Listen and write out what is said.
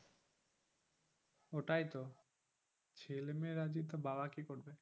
ওটাই তো ছেলেমেয়ে রাজি তো বাবা কি করবে